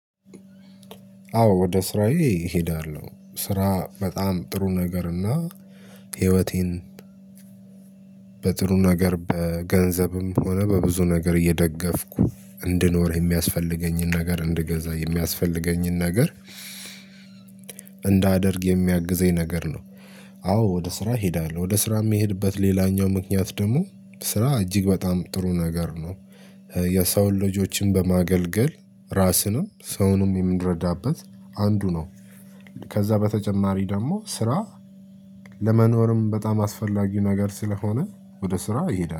አዎ ወደ ስራዬ እሄዳለሁ ስራ በጣም ጥሩ ነገር እና ህይወቴን በጥሩ ነገር በገንዘብም ሆነ በብዙ ነገር እየደገፍኩ እንድኖር የሚያስፈልገኝን ነገር እንድገዛ የሚያስፈልገኝን ነገር እንዳደርግ የሚያግዘኝ ነገር ነው። አዎ ወደ ስራ እሄዳለሁ ወደ ስራ የሚሄድበት ሌላኛው ምክንያት ደግሞ ስራ እጅግ በጣም ጥሩ ነገር ነው። የሰውን ልጆችን በማገልገል ራስንም ሰውንም የምረዳበት አንዱ ነው። ከዛ በተጨማሪ ደግሞ ስራ ለመኖርም በጣም አስፈላጊው ነገር ስለሆነ ወደ ስራ ይሄዳል